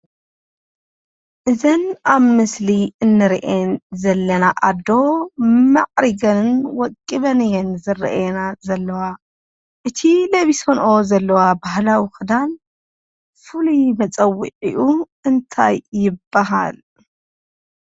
እተን አብ ምስሊ እንሪአን ዘለና አዶ ማዕሪገን ወቂበን እየን ዝረአያና ዘለዋ፡፡ እቲ ለቢሰንኦ ዘለዋ ባህላዊ ኽዳን ፍሉይ መፀውዒኡ እንታይ ይበሃል?